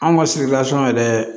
Anw ka yɛrɛ